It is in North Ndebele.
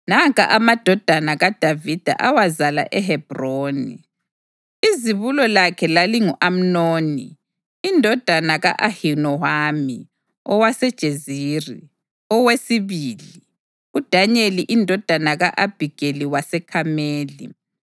Nanka amadodana kaDavida awazala eHebhroni: Izibulo lakhe lalingu-Amnoni indodana ka-Ahinowama owaseJezerili; owesibili, uDanyeli indodana ka-Abhigeli waseKhameli;